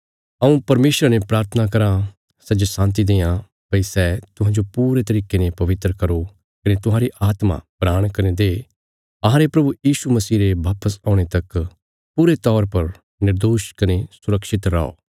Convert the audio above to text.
हऊँ परमेशरा ने प्राथना कराँ सै जे शान्ति देआं भई सै तुहांजो पूरे तरिके ने पवित्र करो कने तुहांरी आत्मा प्राण कने देह अहांरे प्रभु यीशु मसीह रे वापस औणे तक पूरे तौर पर निर्दोष कने सुरक्षित रौआ